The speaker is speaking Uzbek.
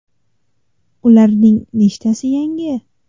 Ulardan nechtasi yangi?